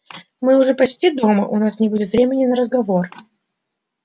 мы уже почти дома у нас не будет времени на разговор